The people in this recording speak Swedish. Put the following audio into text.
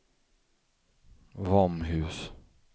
Våmhus